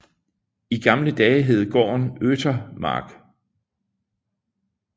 I gamle dage hed gården Øthemark